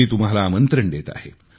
मी तुम्हाला आमंत्रण देत आहे